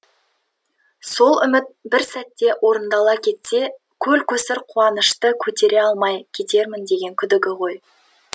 сол үміт бір сәтте орындала кетсе көлкөсір қуанышты қөтере алмай кетермін деген күдігі ғой